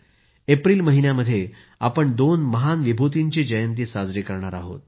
April महिन्यामध्ये आपण दोन महान विभूतींची जयंती साजरी करणार आहोत